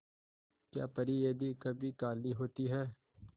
क्या परी यदि कभी काली होती है